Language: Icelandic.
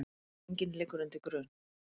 Enginn liggur undir grun